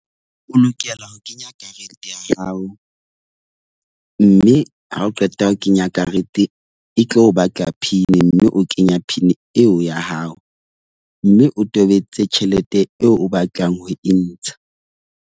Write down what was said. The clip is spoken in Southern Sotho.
O lokela ho kenya karete ya hao. Mme ha o qeta ho kenya karete e tlo o batla pin, mme o kenya PIN eo ya hao. Mme o tobetse tjhelete eo o batlang ho e ntsha.